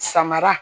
Samara